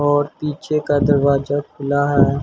और पीछे का दरवाजा खुला है।